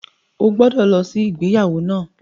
O gbọ́dọ̀ lọ sí ìgbéyàwó náà!